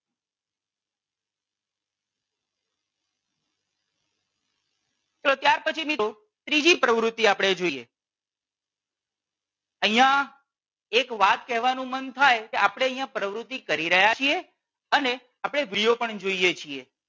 તો ત્યાર પછી મિત્રો ત્રીજી પ્રવુતિ આપણે જોઈએ. અહિયાં એક વાત કેવાનું માં થાય કે આપણે અહિયાં પ્રવૃતિ કરી રહ્યા છીએ અને આપણે વિડિયો પણ જોઈએ છીએ.